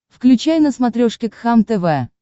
включай на смотрешке кхлм тв